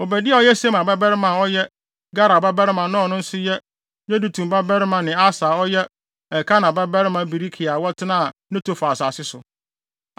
Obadia a ɔyɛ Semaia babarima a ɔyɛ Galal babarima na ɔno nso yɛ Yedutun babarima ne Asa a ɔyɛ Elkana babarima Berekia a wɔtenaa Netofa asase so.